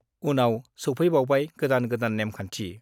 उनाव सौफैबावबाय गोदान गोदान नेमखान्थि।